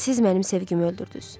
Siz mənim sevgimi öldürdüz.